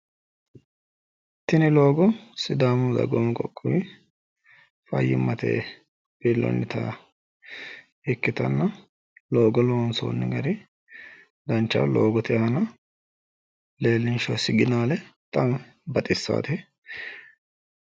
Tini doogo sidaamu dagoomu qoqqowi fayyimmate biiloonyita ikkitanna doogo loonsoonniri dancha doogote aana leellinshoonni signale baxissaate.